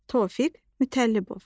Tofiq Mütəllibov.